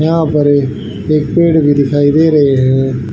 यहा पर भी एक पेड़ भी दिखाई दे रही है।